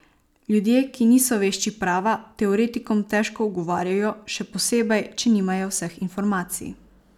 Ljudje, ki niso vešči prava, teoretikom težko ugovarjajo, še posebej, če nimajo vseh informacij.